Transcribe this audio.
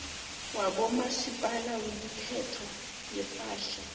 wabomasipala wemithelo yepahla